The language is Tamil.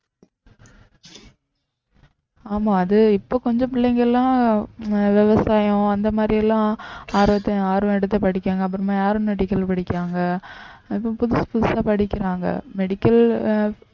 ஆமா அது இப்ப கொஞ்சம் பிள்ளைங்க எல்லாம் உம் விவசாயம் அந்த மாதிரி எல்லாம் ஆர்வத்~ஆர்வம் எடுத்து படிக்காங்க அப்புறமா aeronautical படிக்கிறாங்க அப்புறம் புதுசு புதுசா படிக்கிறாங்க medical அஹ்